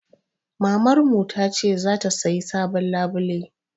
Mamarmu ta ce za ta sayi sabon labulai.